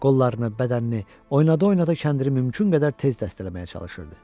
Qollarını, bədənini oyunda-oyunda kəndiri mümkün qədər tez dəstələməyə çalışırdı.